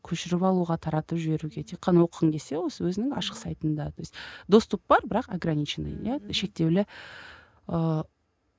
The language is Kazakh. көшіріп алуға таратып жіберуге тек қана оқығың келсе осы осының өзінің ашық сайтында то есть доступ бар бірақ ограниченный иә шектеулі ыыы